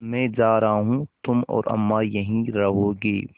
मैं जा रहा हूँ तुम और अम्मा यहीं रहोगे